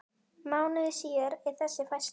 Mánuði síðar er þessi færsla